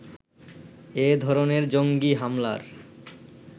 এ ধরনের জঙ্গী হামলার